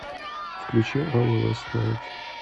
включи аур ласт найт